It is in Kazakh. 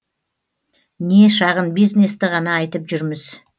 не шағын бизнесті ғана айтып жүрміз